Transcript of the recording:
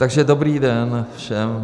Takže dobrý den všem.